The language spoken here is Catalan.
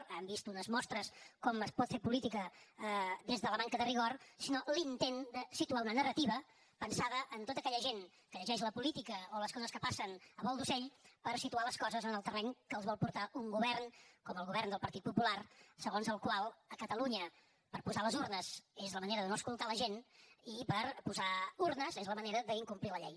han vist unes mostres de com es pot fer política des de la manca de rigor sinó l’intent de situar una narrativa pensada en tota aquella gent que llegeix la política o les coses que passen a vol d’ocell per situar les coses en el terreny a què els vol portar un govern com el govern del partit popular segons el qual a catalunya posar les urnes és la manera de no escoltar la gent i posar urnes és la manera d’incomplir la llei